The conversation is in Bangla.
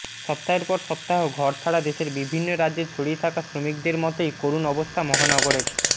সপ্তাহের পর সপ্তাহ ঘরছাড়া দেশের বিভিন্ন রাজ্যে ছড়িয়ে থাকা শ্রমিকদের মতোই করুণ অবস্থা মহানগরের